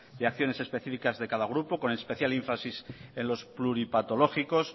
de acciones especificas de cada grupo con especial énfasis en los pluripatologicos